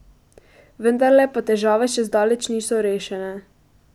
Vendarle pa težave še zdaleč niso rešene.